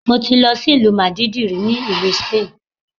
Mo ti lọ sí ìlú Màdídìrì ní ìlú Sípánìì.